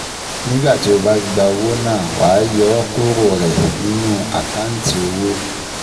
Nígbà tí o bá gba owó náà, wàá yọ ọ́ kúrò rẹ̀ nínú àkántì owó